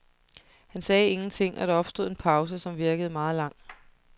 Han sagde ingenting, og der opstod en pause, som virkede meget lang.